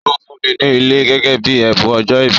Ó fún ùn ní ilẹ̀ gẹ́gẹ́ bíi ẹ̀bùn ọjọ́ ìbí